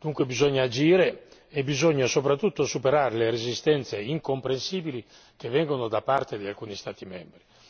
Dunque bisogna agire e bisogna soprattutto superare le resistenze incomprensibili che vengono da parte di alcuni Stati membri.